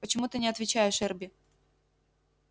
почему ты не отвечаешь эрби